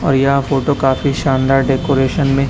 और यह फोटो काफी शानदार डेकोरेशन में--